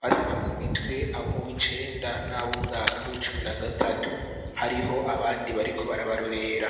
batana mu mitwe abo mu wicenda n'ab umwaka w'icumi na gatatu hariho abandi bariko barabarurera.